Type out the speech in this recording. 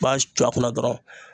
I b'a jɔ a kunna dɔrɔn